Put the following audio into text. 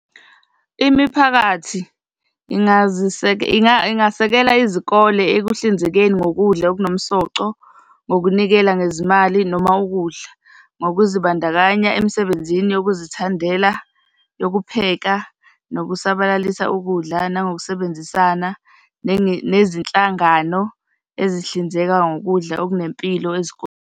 Imiphakathi ingasekela izikole ekuhlinzekeni ngokudla okunomsoco ngokunikela ngezimali noma ukudla, ngokuzibandakanya emsebenzini yokuzithandela yokupheka nokusabalalisa ukudla, nangokusebenzisana nezinhlangano ezihlinzeka ngokudla okunempilo .